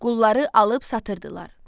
Qulları alıb satırdılar.